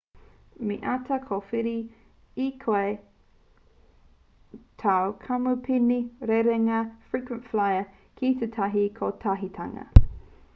me āta kōwhiri e koe tāu kamupene rerenga frequent flyer ki tētahi kotahitanga